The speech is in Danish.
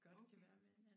Okay